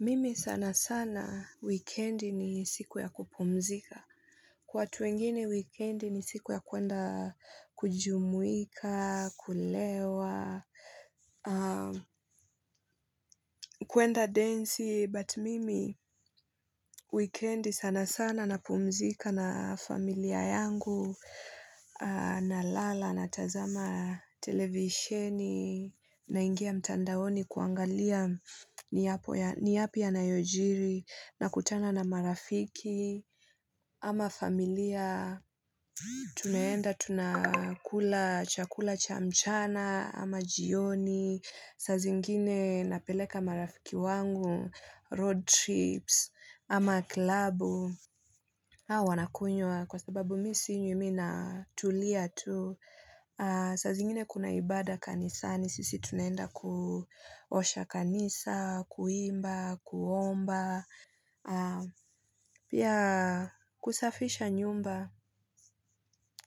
Mimi sana sana wikendi ni siku ya kupumzika, watu wengine wikendi ni siku ya kwenda kujumuika, kulewa, kwenda densi. Mimi wikendi sana sana napumzika na familia yangu, na lala, na tazama, televisheni, naingia mtandaoni kuangalia ni yapi yanayojiri, nakutana na marafiki ama familia, tunaenda tunakula chakula cha mchana ama jioni, saa zingine napeleka marafiki wangu, road trips, ama klabu. Hawa wanakunywa kwa sababu mi sinywi mi natulia tu, saa zingine kuna ibada kanisani sisi tunaenda kuosha kanisa, kuimba, kuomba kusafisha nyumba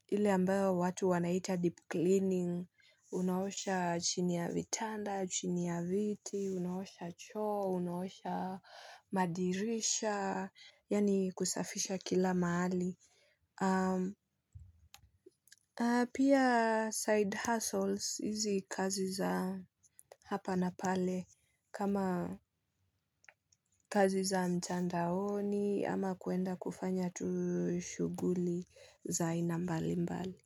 ile ambayo watu wanaita deep cleaning unaosha chini ya vitanda, chini ya viti unaosha choo unaosha madirisha, yaani kusafisha kila mahali, pia side hustles, hizi kazi za hapa na pale kama kazi za mtandaoni ama kwenda kufanya tu shuguli za aina mbalimbali.